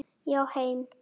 Já, heim.